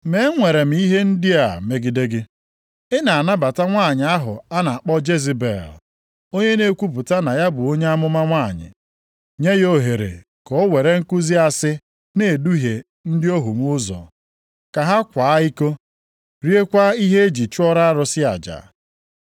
Ma enwere m ihe ndị a megide gị. Ị na-anabata nwanyị ahụ a na-akpọ Jezebel, onye na-ekwupụta na ya bụ onye amụma nwanyị + 2:20 Onye amụma nwanyị Ọ bụ onye amụma ụgha nʼihi na ihe ọ na-akụzi megidere iwu Chineke. nye ya ohere ka o were nkuzi asị na-eduhie ndị ohu m ụzọ, ka ha kwaa iko, riekwa ihe e ji chụọrọ arụsị aja.